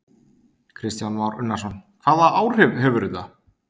Kristján Már Unnarsson: Hvaða áhrif hefur þetta?